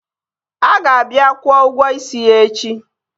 A ga-abịa kwụo ụgwọ isi ya echi